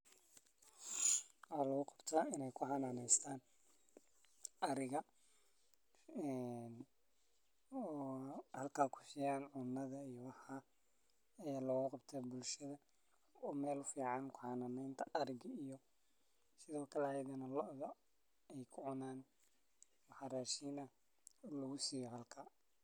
Waxa laguqabta in ey kuxananeystaan ariga een oo halkaa kusiyaan cunadha iyo waxa loguqabta bulshada umel fican kuxananenta ariga iyo sidhookale ayagana loodha ey kucunaan waxa rashin ah lagusiiyo halka.